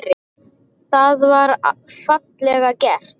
Það var fallega gert.